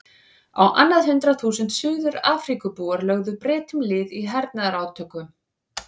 Á annað hundrað þúsund Suður-Afríkubúar lögðu Bretum lið í hernaðarátökum.